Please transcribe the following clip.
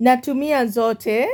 Natumia zote